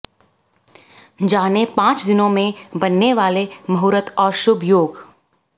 जानें पांच दिनों में बनने वाले मुहूर्त और शुभ योग